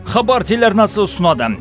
хабар телеарнасы ұсынады